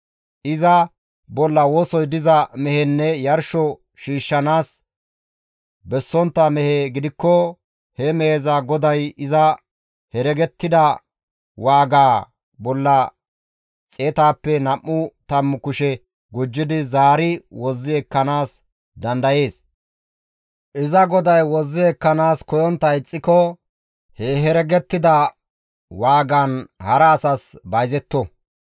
Iza bolla wosoy diza mehenne yarsho shiishshanaas bessontta mehe gidikko he meheza goday iza heregettida waagaa bolla xeetaappe nam7u tammu kushe gujjidi zaari wozzi ekkanaas dandayees; iza goday wozzi ekkanaas koyontta ixxiko he heregettida waagaan hara asas bayzetto.